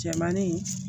Cɛmannin